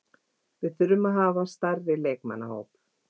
Við þurfum að hafa stærri leikmannahóp.